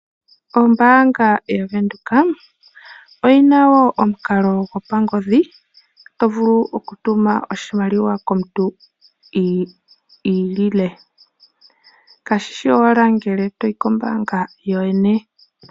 Ombaanga yavenduka, oyina wo omukalo gwopangodhi, tovulu okutuma oshimaliwa komuntu iilile, kashishi owala ngele toyi kombaanga kookwene.